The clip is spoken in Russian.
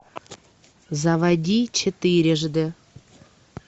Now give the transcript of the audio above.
заводи четырежды